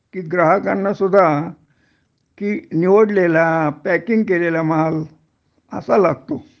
कि ग्राहकांना सुद्धा कि निवडलेला पॅकिंग केलेला माल असा लागतो